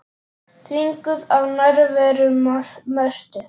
Þvinguð af nærveru Mörtu.